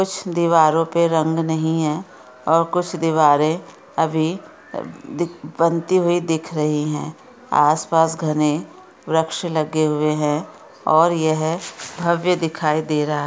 कुछ दीवारों पे रंग नही है और कुछ दिवारे अभी अ दीख-- बनती हुई दिख रही है आस पास घने वृक्ष लगे हुए है और यह भव्य दिखाई दे रहा--